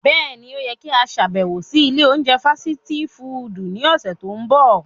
Bẹ́ẹ̀ni, o yẹ ki a ṣabẹwo si ile ounjẹ fasiti fudu ni ọsẹ to nbọ.